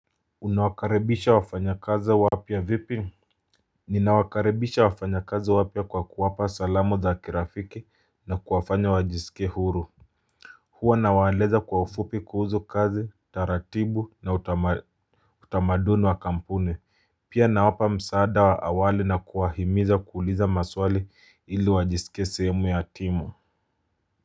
Unawakaribisha wafanyakazi wapya vipi? Ninawakaribisha wafanyakazi wapya kwa kuwapa salamu za kirafiki na kuwafanya wajiskie huru Hua nawaeleza kwa ufupi kuhuzu kazi, taratibu na utamaduni wa kampuni, pia nawapa msaada awali na kuwahimiza kuuliza maswali ili wajisikie sehemu ya timu.